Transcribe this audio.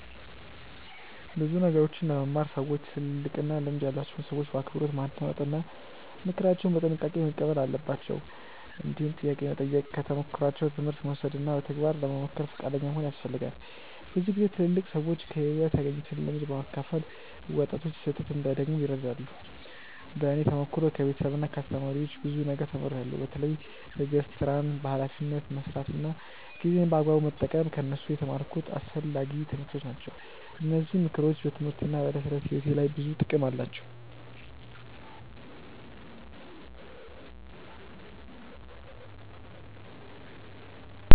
ብዙ ነገሮችን ለመማር ሰዎች ትልልቅና ልምድ ያላቸውን ሰዎች በአክብሮት ማዳመጥ እና ምክራቸውን በጥንቃቄ መቀበል አለባቸው። እንዲሁም ጥያቄ መጠየቅ፣ ከተሞክሯቸው ትምህርት መውሰድ እና በተግባር ለመሞከር ፈቃደኛ መሆን ያስፈልጋል። ብዙ ጊዜ ትልልቅ ሰዎች ከሕይወት ያገኙትን ልምድ በማካፈል ወጣቶች ስህተት እንዳይደግሙ ይረዳሉ። በእኔ ተሞክሮ ከቤተሰብና ከአስተማሪዎች ብዙ ነገር ተምሬያለሁ። በተለይ ትዕግስት፣ ሥራን በኃላፊነት መስራት እና ጊዜን በአግባቡ መጠቀም ከእነሱ የተማርኩት አስፈላጊ ትምህርቶች ናቸው። እነዚህ ምክሮች በትምህርቴና በዕለት ተዕለት ሕይወቴ ላይ ብዙ ጥቅም አላቸው።